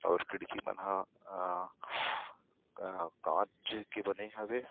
और खिड़की मन ह क कांच के बने हवे।